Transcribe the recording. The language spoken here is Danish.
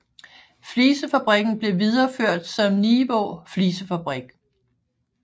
Flisefabrikken blev videreført som Nivaa Flisefabrik